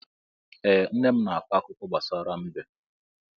Ee, nne m na-akọ akụkọ gbasara mbe.